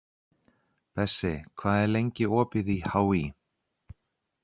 Bessi, hvað er lengi opið í HÍ?